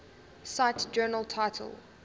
cite journal title